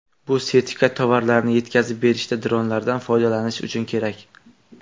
Bu sertifikat tovarlarni yetkazib berishda dronlardan foydalanish uchun kerak.